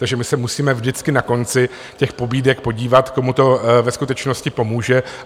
Takže my se musíme vždycky na konci těch pobídek podívat, komu to ve skutečnosti pomůže.